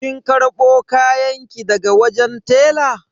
Kin karbo kayanki daga wajen tela?